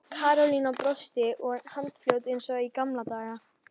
Karólína brosti og var handfljót eins og í gamla daga.